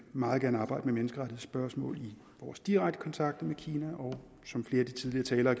meget gerne arbejde med menneskerettighedsspørgsmålet i vores direkte kontakter med kina og som flere af de tidligere talere